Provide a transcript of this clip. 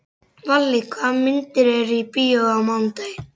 Valli, hvaða myndir eru í bíó á mánudaginn?